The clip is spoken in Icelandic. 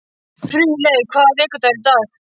Friðleif, hvaða vikudagur er í dag?